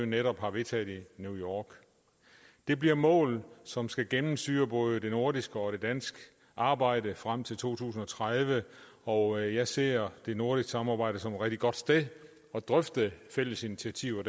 netop har vedtaget i new york det bliver mål som skal gennemsyre både det nordiske og det danske arbejde frem til to tusind og tredive og jeg ser det nordiske samarbejde som et rigtig godt sted at drøfte fælles initiativer